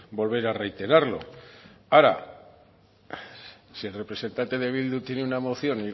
volver a reiterarlo ahora si el representante de bildu tiene una moción